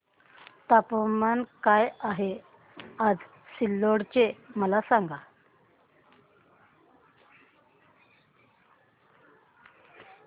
तापमान काय आहे आज सिल्लोड चे मला सांगा